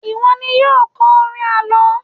iwọ ni yíò kọ orin àlọ